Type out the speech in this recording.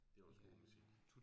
Det også god musik